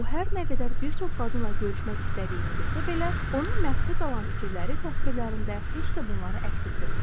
O, hər nə qədər bir çox qadınla görüşmək istədiyini desə belə, onun məxfi qalan fikirləri təsvirlərində heç də bunları əks etdirmirdi.